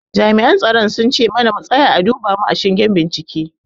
Jami'an tsaron sun ce mana mu tsaya a duba mu a shingen bincike.